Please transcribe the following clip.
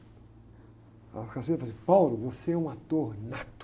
A falou assim, você é um ator nato.